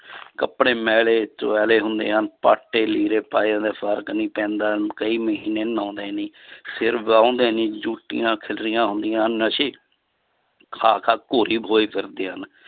ਕੱਪੜੇ ਮੈਲੇ ਧੁਵੈਲੇ ਹੁੰਦੇ ਹਨ, ਪਾਟੇ ਲੀੜੇ ਪਾਏ ਹੁੰਦੇ ਆ, ਫ਼ਰਕ ਨੀ ਪੈਂਦਾ, ਕਈ ਮਹੀਨੇ ਨਹਾਉਂਦੇ ਨਹੀਂ ਸਿਰ ਵਾਹੁੰਦੇ ਨੀ ਜੋਟੀਆਂ ਖਿਲਰੀਆਂ ਹੁੰਦੀਆਂ ਨਸ਼ੇ ਖਾ ਖਾ ਘੋਰੀ ਹੋਏ ਫਿਰਦੇ ਹਨ